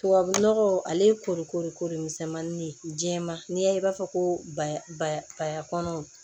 Tubabu nɔgɔ ale kolo ko de misɛnmani jɛman n'i y'a ye i b'a fɔ ko ba ka kɔnɔw